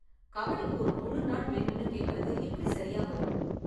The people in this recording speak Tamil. கபடிக்கு ஒரு முழு நாள் வேணும்னு கேக்கறது எப்படி சரியா வரும்?